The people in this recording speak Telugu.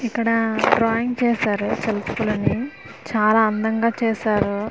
ఇక్కడ డ్రాయింగ్స్ వేశారు అని చాలా అందంగా చేశారు .